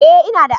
Ee ina da.